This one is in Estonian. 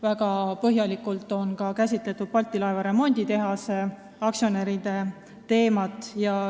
Väga põhjalikult on käsitletud ka Balti laevaremonditehase aktsionäride teemat.